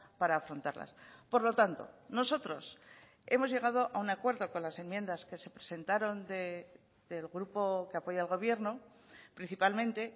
para afrontarlas por lo tanto nosotros hemos llegado a un acuerdo con las enmiendas que se presentaron del grupo que apoya al gobierno principalmente